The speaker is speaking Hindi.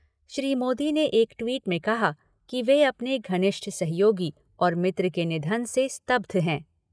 श्री मोदी ने एक ट्वीट में कहा कि वे अपने घनिष्ठ सहयोगी और मित्र के निधन से स्तब्ध हैं।